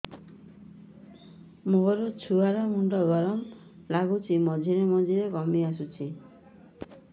ମୋ ଛୁଆ ର ମୁଣ୍ଡ ଗରମ ଲାଗୁଚି ମଝିରେ ମଝିରେ କମ୍ପ ଆସୁଛି